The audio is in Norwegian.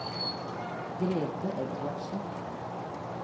Grete Edvardsen